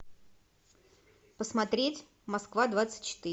посмотреть москва двадцать четыре